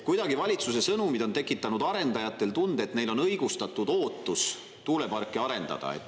Kuidagi on valitsuse sõnumid tekitanud arendajatele tunde, et neil on õigustatud ootus tuuleparki arendada.